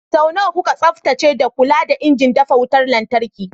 Sau nawa kuka tsaftace da kula da injin dafa wutar lantarki?